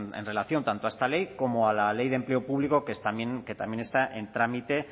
en relación tanto a esta ley como a la ley de empleo público que también está en trámite